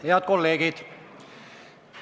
Head kolleegid!